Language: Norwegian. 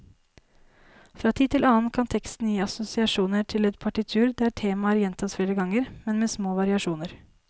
Fra tid til annen kan teksten gi assosiasjoner til et partitur der temaer gjentas flere ganger, men med små variasjoner.